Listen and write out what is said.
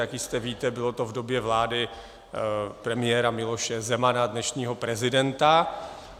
Jak jistě víte, bylo to v době vlády premiéra Miloše Zemana, dnešního prezidenta.